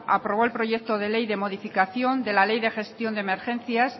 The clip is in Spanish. aprobó el proyecto de ley de modificación de la ley de gestión de emergencias